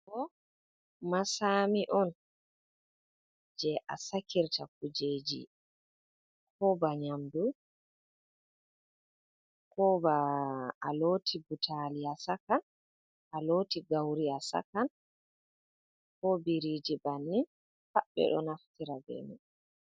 Masami on jei a sakirta kujeeji ko ban yamdu ko ba looti butali a sakan a looti gauri a sakan ko biriji bannin pat ɓe do naftira be mai.